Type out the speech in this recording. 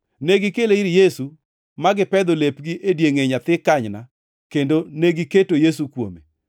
Negikele ir Yesu, ma gipedho lepgi e diengʼe nyathi kanyna kendo negiketo Yesu kuome.